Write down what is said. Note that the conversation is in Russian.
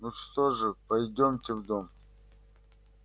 ну что же пойдёмте в дом